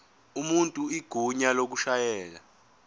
umuntu igunya lokushayela